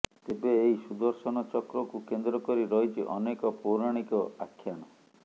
ତେବେ ଏହି ସୁଦର୍ଶନ ଚକ୍ରକୁ କେନ୍ଦ୍ରକରି ରହିଛି ଅନେକ ପୌରାଣିକ ଆଖ୍ୟାନ